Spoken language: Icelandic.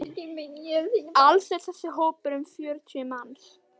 Alls er þessi hópur um fjörutíu manns.